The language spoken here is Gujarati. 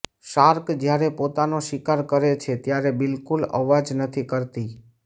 શાર્ક જ્યારે પોતાનો શિકાર કરે છે ત્યારે બિલકુલ અવાજ નથી કરતી